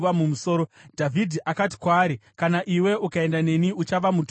Dhavhidhi akati kwaari, “Kana iwe ukaenda neni, uchava mutoro kwandiri.